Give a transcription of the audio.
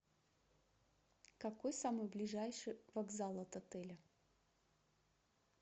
какой самый ближайший вокзал от отеля